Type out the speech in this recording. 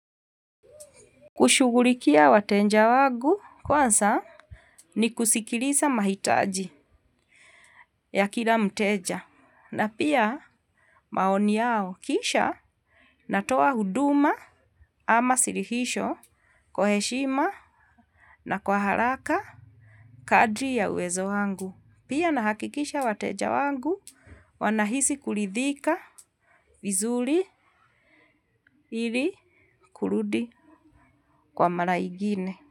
Kushughulikia wateja wangu kwanza ni kusikiliza mahitaji ya kila mteja na pia maoni yao kisha natoa huduma ama suluhisho kwa heshima na kwa haraka kadri ya uwezo wangu. Pia nahakikisha wateja wangu wanahisi kuridhika vizuri ili kurudi kwa mara igine.